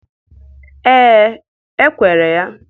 Ee, e kwere ya.